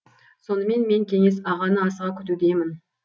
сонымен мен кеңес ағаны асыға күтудемін